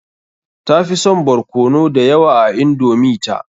Tafi son barkono da yawa a indomi ta.